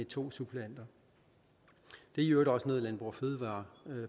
to suppleanter det er i øvrigt også noget landbrug fødevarer